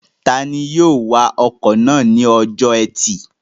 Tani yóò wa ọkọ̀ náà ní ọjọ́ ẹtì?